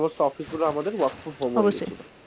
সমস্ত অফিসগুলো আমাদের work form home হয়েছিল, অবশ্যই।